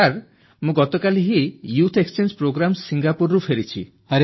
sir ମୁଁ ଗତକାଲି ହିଁ ୟୁଥ୍ ଏକ୍ସଚେଞ୍ଜ ପ୍ରୋଗ୍ରାମରେ ଭାଗ ନେଇ ସିଙ୍ଗାପୁରରୁ ଫେରିଛି